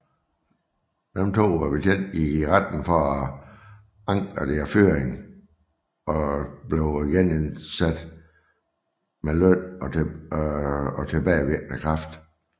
De to betjente gik i retten for at anke deres fyring og blev genindsat med løn og tilbagevirkende kraft